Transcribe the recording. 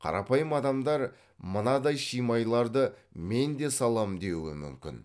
қарапайым адамдар мынадай шимайларды мен де саламын деуі мүмкін